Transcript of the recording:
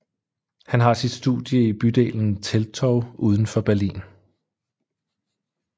Han har sit studie i bydelen Teltow udenfor Berlin